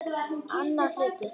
Annar hluti